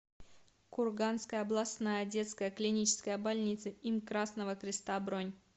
курганская областная детская клиническая больница им красного креста бронь